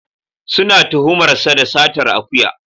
Suna tuhumar sa da satar akuya.